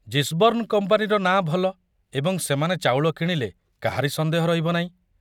Gisborne କମ୍ପାନୀର ନାଁ ଭଲ ଏବଂ ସେମାନେ ଚାଉଳ କିଣିଲେ କାହାରି ସନ୍ଦେହ ରହିବ ନାହିଁ।